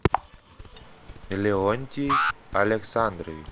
леонтий александрович